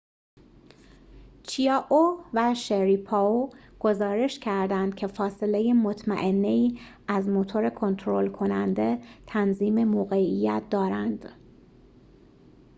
چیائو و شریپاو گزارش کردند که فاصله مطمئنه‌ای از موتور کنترل کننده تنظیم موقعیت دارند